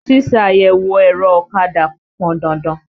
Ṣíṣe àyẹ̀wò ẹ̀rọ ọ̀kadà pọn dandan.